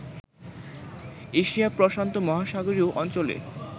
এশিয়াপ্রশান্ত মহাসাগরীয় অঞ্চলে